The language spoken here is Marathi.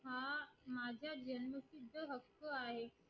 हो आहे